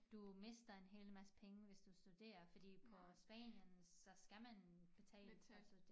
Du mister en hel masse penge hvis du studerer fordi på Spanien så skal man betale til at studere